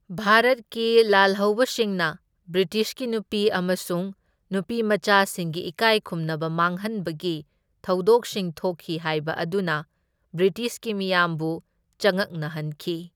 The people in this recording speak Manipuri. ꯚꯥꯔꯠꯀꯤ ꯂꯥꯜꯍꯧꯕꯁꯤꯡꯅ ꯕ꯭ꯔꯤꯇꯤꯁꯀꯤ ꯅꯨꯄꯤ ꯑꯃꯁꯨꯡ ꯅꯨꯄꯤꯃꯆꯥꯁꯤꯡꯒꯤ ꯏꯀꯥꯏꯈꯨꯝꯅꯕ ꯃꯥꯡꯍꯟꯕꯒꯤ ꯊꯧꯗꯣꯛꯁꯤꯡ ꯊꯣꯛꯈꯤ ꯍꯥꯢꯕ ꯑꯗꯨꯅ ꯕ꯭ꯔꯤꯇꯤꯁꯀꯤ ꯃꯤꯌꯥꯝꯕꯨ ꯆꯉꯛꯅꯍꯟꯈꯤ꯫